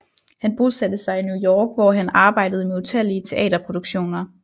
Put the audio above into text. Han bosatte sig i New York hvor han arbejdede med utallige teaterproduktioner